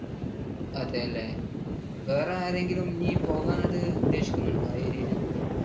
അതല്ലേ? വേറെ ആരെങ്കിലും ഇനി പോകാൻ അത് ഉദ്ദേശിക്കുന്നുണ്ടോ? ആ area യിൽ കൂടെ?